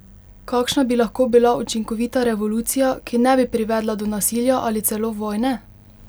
Kakšna bi lahko bila učinkovita revolucija, ki ne bi privedla do nasilja ali celo vojne?